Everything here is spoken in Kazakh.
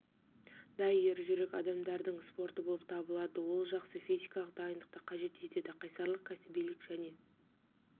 да ержүрек адамдардың спорты болып табылады ол жақсы физикалық дайындықты қажет етеді қайсарлық кәсібилік және